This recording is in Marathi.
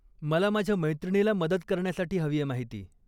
मला माझ्या मैत्रिणीला मदत करण्यासाठी हवीये माहिती.